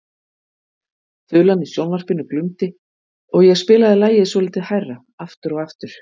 Þulan í sjónvarpinu glumdi og ég spilaði lagið svolítið hærra aftur og aftur.